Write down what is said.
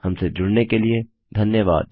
हमसे जुड़ने के लिए धन्यवाद